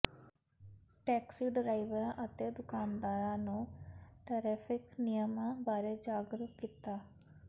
taxi ਡਰਾਈਵਰਾਂ ਅਤੇ ਦੁਕਾਨਦਾਰਾਂ ਨੂੰ ਟੈ੍ਰਫਿਕ ਨਿਯਮਾਂ ਬਾਰੇ ਜਾਗਰੂਕ ਕੀਤਾ